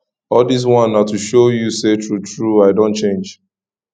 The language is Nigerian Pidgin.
all dis one na to show you sey truetrue i don change